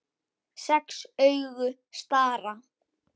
Sex augu stara.